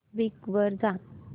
Bing वर जा